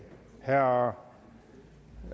herre